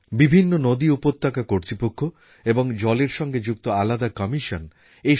তাঁর মতন দূরদর্শী মানুষ সেইসময়েই বলেছিলেন নদী আর উপত্যকা পরিচালন সংসদের কথা